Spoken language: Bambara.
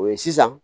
O ye sisan